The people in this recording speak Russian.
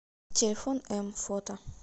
телефон м фото